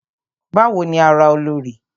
Bawo ni ara Olorì?